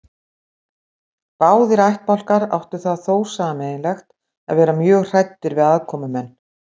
Báðir ættbálkar áttu það þó sameiginlegt að vera mjög hræddir við aðkomumenn.